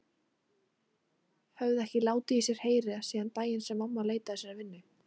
Höfðu ekki látið í sér heyra síðan daginn sem mamma leitaði sér að vinnu.